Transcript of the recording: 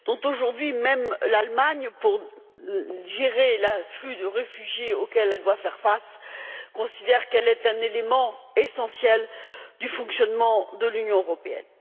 Aujourd'hui, même l'Allemagne, pour gérer l'afflux de réfugiés auquel elle doit faire face, considère qu'elle est un élément essentiel du fonctionnement de l'Union européenne.